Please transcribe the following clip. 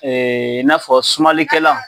i n'a fɔ sumalikɛla